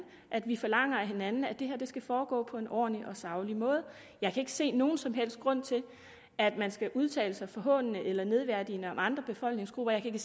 at vi forlanger af hinanden at det her skal foregå på en ordentlig og saglig måde jeg kan ikke se nogen som helst grund til at man skal udtale sig forhånende eller nedværdigende om andre befolkningsgrupper jeg kan